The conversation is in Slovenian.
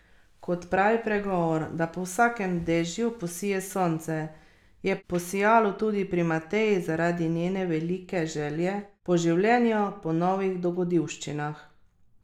Kot pravi pregovor, da po vsakem dežju posije sonce, je posijalo tudi pri Mateji, zaradi njene velike želje po življenju, po novih dogodivščinah.